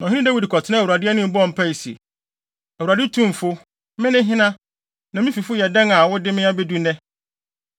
Na ɔhene Dawid kɔtenaa Awurade anim bɔɔ mpae se, “ Awurade Tumfo, me ne hena, na me fifo yɛ dɛn a wode me abedu nnɛ?